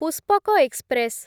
Pushpak express